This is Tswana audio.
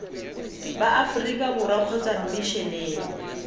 ba aforika borwa kgotsa mmisheneng